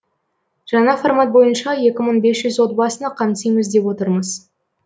жаңа формат бойынша екі мың бес жүз отбасыны қамтимыз деп отырмыз